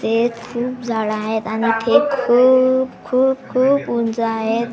ते खूप झाडं आहेत आणि ते खूप खूप खूप उंच आहेत.